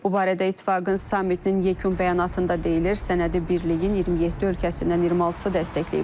Bu barədə İttifaqın sammitinin yekun bəyanatında deyilir, sənədi Birliyin 27 ölkəsindən 26-sı dəstəkləyib.